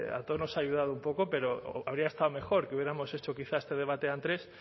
a todos nos ha ayudado un poco pero habría estado mejor que hubiéramos hecho quizá este debate antes